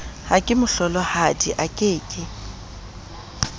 ha kemohlolohadi a ke ke